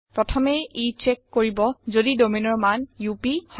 প্ৰথমে ই চেক কৰিব যদি domainৰ মান আপ হয়